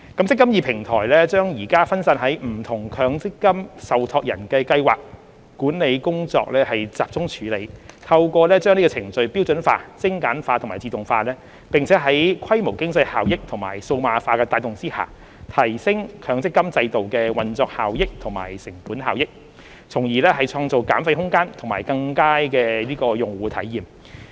"積金易"平台將現時分散於不同強制性公積金受託人的計劃管理工作集中處理，透過把程序標準化、精簡化和自動化，並在規模經濟效益和數碼化的帶動下，提升強積金制度的運作效益和成本效益，從而創造減費空間及更佳的用戶體驗。